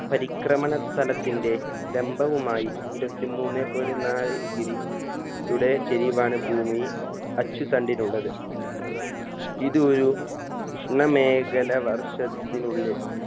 പരിക്രമണ തലത്തിന്റെ ലംബവുമായി ഇരുവത്തി മൂന്നേ point നാല് degree യുടെ ചെരിവാണ് ഭൂമി അച്ചുതണ്ടിലുള്ളത് ഇത് ഒരു ഉഷ്ണമേഖല വർഷത്തിനുള്ളിൽ